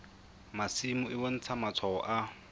masimo e bontsha matshwao a